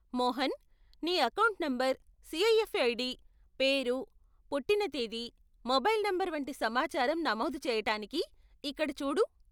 మోహన్, నీ account number, CIF ID, పేరు, పుట్టిన తేదీ, మొబైల్ నంబరు వంటి సమాచారం నమోదు చేయటానికి ఇక్కడ చూడు.